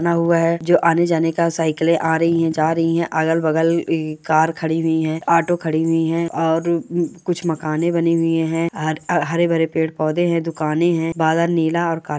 बना हुआ है जो आने जाने का साइकिले आ रही है जा रही है अगल-बगल कार खड़ी हुई है ऑटो खड़ी हुई है और कुछ मकाने बने हुए है हरे-भरे पेड़-पौधे है दुकाने है बादल नीला और काला --